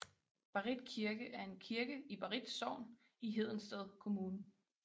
Barrit Kirke er en kirke i Barrit Sogn i Hedensted Kommune